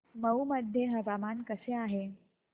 मौ मध्ये हवामान कसे आहे